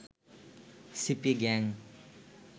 CP gang